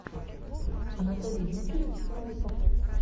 анатолий викторович новиков